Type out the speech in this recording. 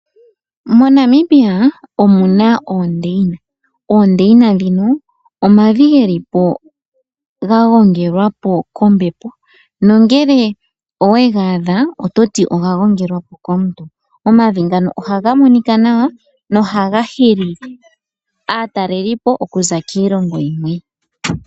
MoNamibia omuna oondeyina, oondeyina ndhino omavi geli po ga gongelwapo kombepo nongele owega adha oto ti oga gongelwapo komuntu. Omavi ngano ohaga monika nawa nohaga hili aatalelipo okuza kiilongo yimwe.